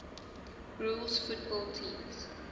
rules football teams